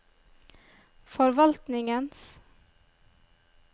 forvaltningens